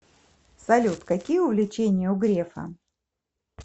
салют какие увлечения у грефа